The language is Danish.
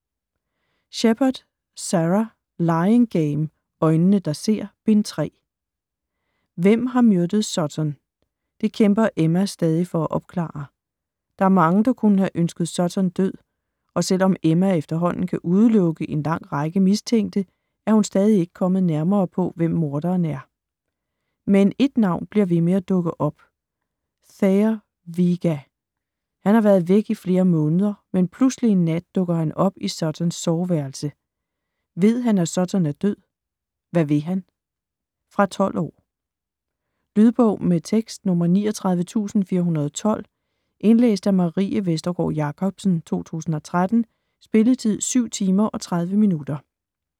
Shepard, Sara: Lying game: Øjnene der ser: Bind 3 Hvem har myrdet Sutton? Det kæmper Emma stadig for at opklare. Der er mange, der kunne have ønsket Sutton død, og selvom Emma efterhånden kan udelukke en lang række mistænkte, er hun stadig ikke kommet nærmere på, hvem morderen er. Men ét navn bliver ved med at poppe op: Thayer Vega. Han har været væk i flere måneder, men pludselig en nat dukker han op i Suttons soveværelse. Ved han at Sutton er død? Hvad vil han? Fra 12 år. Lydbog med tekst 39412 Indlæst af Marie Vestergård Jacobsen, 2013. Spilletid: 7 timer, 30 minutter.